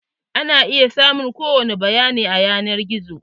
Ana iya samun ko wani bayani a yanar gizo.